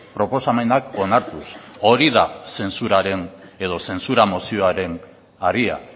proposamenak onartuz hori da zentsuraren edo zentsura mozioaren haria